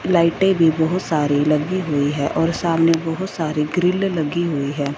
लाइटे भी बहुत सारी लगी हुई है और सामने बहोत सारी ग्रील लगी हुई है।